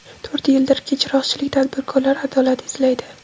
To‘rt yildirki, chiroqchilik tadbirkorlar adolat izlaydi.